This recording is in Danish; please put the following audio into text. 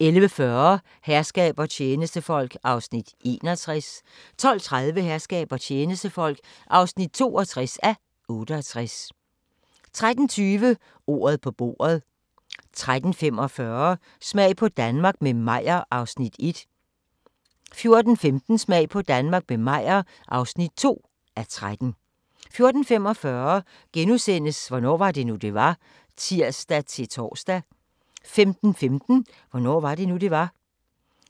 11:40: Herskab og tjenestefolk (61:68) 12:30: Herskab og tjenestefolk (62:68) 13:20: Ordet på bordet 13:45: Smag på Danmark – med Meyer (1:13) 14:15: Smag på Danmark – med Meyer (2:13) 14:45: Hvornår var det nu, det var? *(tir-tor) 15:15: Hvornår var det nu, det var?